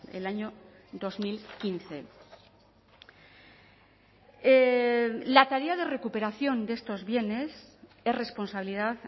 el año dos mil quince la tarea de recuperación de estos bienes es responsabilidad